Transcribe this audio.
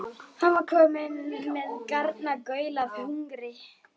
Hann var kominn með garnagaul af hungri.